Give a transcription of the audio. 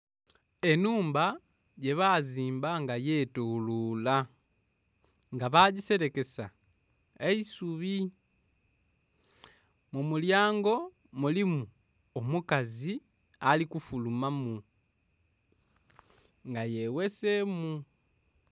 Enhumba gye bazimba nga yetolola nga bagiserekesa eisubi, mu mulyango mulimu omukazi ali ku fuluma mu nga ye ghesemu.